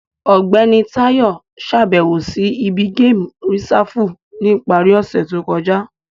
Ọgbẹni Tayo ṣabẹwo si ibi Gamu Risafu ni ipari ose to kọja.